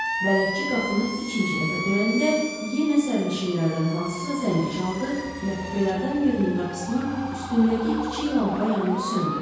Bələdçi qapını ikinci dəfə döyəndə yenə sərnişinlərdən hansısa zəngi çaldı və kupelərdən birinin qapısının üstündəki kiçik lampa yanıb söndü.